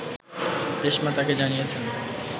রেশমা তাকে জানিয়েছেন